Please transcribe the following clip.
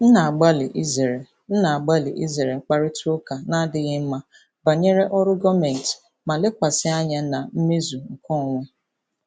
M na-agbalị izere M na-agbalị izere mkparịta ụka na-adịghị mma banyere ọrụ gọọmentị ma lekwasị anya na mmezu nke onwe.